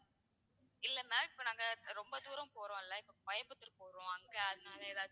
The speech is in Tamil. இல்ல ma'am இப்போ நாங்க ரொம்ப தூரம் போறோம்ல அங்க அதுனால ஏதாச்சும்,